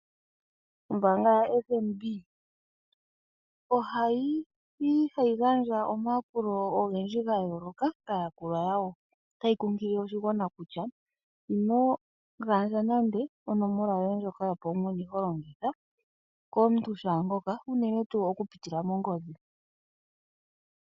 Ombaanga yoFNB ohayi gandja omayakulo ga yooloka kaayakulwa yawo. Otayi kunkilile oshigwana kutya ino gandja nande onomola yoye ndjoka holongitha yopaumwene okupitila mongodhi.